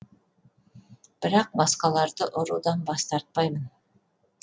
бірақ басқаларды ұрудан бас тартпаймын